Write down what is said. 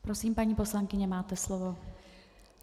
Prosím, paní poslankyně, máte slovo.